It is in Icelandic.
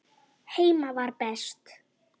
Heima var best.